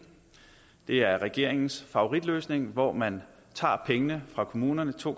det er regeringens favoritløsning hvor man tager pengene fra kommunerne to